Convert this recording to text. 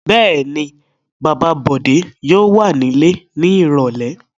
Bẹ́ẹ̀ ni, bàbá Bọ̀dé yóò wà nílé ní ìrọ́lẹ́.